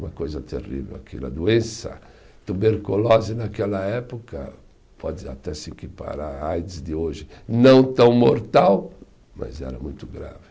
Uma coisa terrível aquilo, a doença, tuberculose naquela época, pode até se equiparar à aids de hoje, não tão mortal, mas era muito grave.